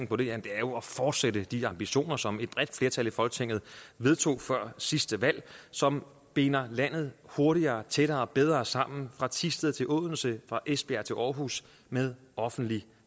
på det jamen det er jo at fortsætte de ambitioner som et bredt flertal i folketinget vedtog før sidste valg som binder landet hurtigere tættere og bedre sammen fra thisted til odense fra esbjerg til århus med offentlig